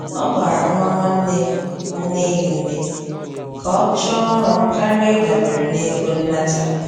Ọ gbara nwa nwanne nneya ume ka ọ chọọ ọrụ karịa ịdabere na-ego nnata